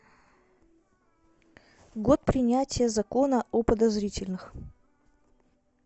год принятия закона о подозрительных